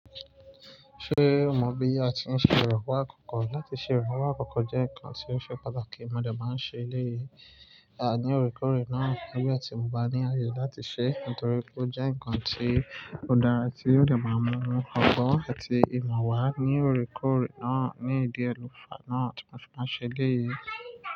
Ṣé o mọ̀ bí a ti ń ṣe ìrànwọ́ àkọ́kọ́? Láti ṣe ìrànwọ́ àkọ́kọ́ jẹ́ nǹkan tí ó ṣe pàtàkì. Mo dẹ̀ máa n ṣe eléyìí, ní òrèkoorè náà. Nígbà ti mọ ba ní àyè láti ṣe, nítorí ó jẹ́ ǹkan tí ó dára tí ó dẹ̀ máa n mú ọgbọ́n àti ìmọ̀ wá ní òrekoorè náà, ní ìdi e lo fá náà tí mo ṣe máa n ṣe eléyìí.